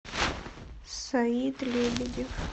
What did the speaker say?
саид лебедев